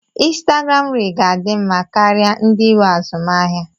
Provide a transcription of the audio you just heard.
Instagram riil ga-adị mma karịa ndị nwe azụmaahịa.